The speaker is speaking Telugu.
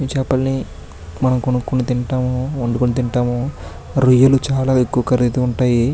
చేపల్ని మనం కొనుక్కొని తింటాము. వండుకొని తింటాము. రొయ్యలు చాలా ఎక్కువ ఖరీదు ఉంటాయి.